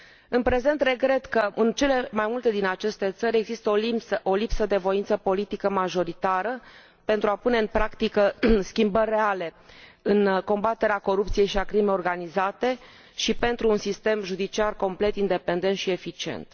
În prezent, regret că în cele mai multe din aceste țări există o lipsă de voință politică majoritară pentru a pune în practică schimbări reale în combaterea corupției și a crimei organizate și pentru un sistem judiciar complet independent și eficient.